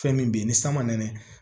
Fɛn min bɛ yen ni san man nɛnɛ